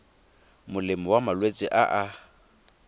molemo wa malwetse a a